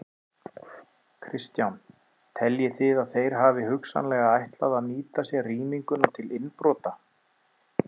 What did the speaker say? Kristján: Teljið þið að þeir hafi hugsanlega ætlað að nýta sér rýminguna til innbrota?